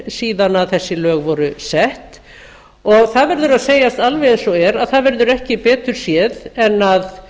síðan þessi lög voru sett og það verður að segjast alveg eins og er að það verður ekki betur séð en að